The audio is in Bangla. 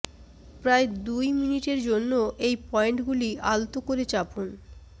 প্রায় দুই মিনিটের জন্য এই পয়েন্টগুলি আলতো করে চাপুন